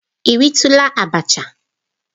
Ị ritula abacha?